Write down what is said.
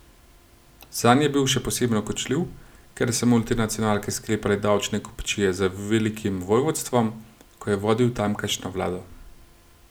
Zanj je bil še posebno kočljiv, ker so multinacionalke sklepale davčne kupčije z velikim vojvodstvom, ko je vodil tamkajšnjo vlado.